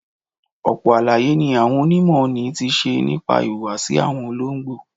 Ọ̀pọ̀ àlàyé ni àwọn onímọ̀ ni ti ṣe nípa ìhùwàsí àwọn olóńgbò.